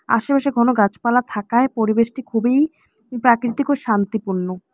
আশেপাশে ঘন গাছপালা থাকায় পরিবেশটি খুবই প্রাকৃতিক ও শান্তিপূণ্য ।